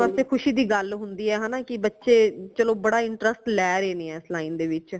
ਅਪਣੇ ਵਾਸਤੇ ਖੁਸ਼ੀ ਦੀ ਗੱਲ ਹੁੰਦੀ ਹੈ ਹਨਾ ਕਿ ਬਚੇ ਚਲੋ ਬੜਾ interest ਲੈ ਰਏ ਨੇ ਇਸ line ਦੇ ਵਿਚ